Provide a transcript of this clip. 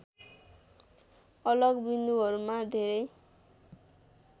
अलग बिन्दुहरूमा धेरै